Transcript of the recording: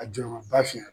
A jɔyɔrɔba fiye